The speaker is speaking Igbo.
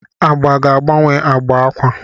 Agba ga-agbanwe agba akwa.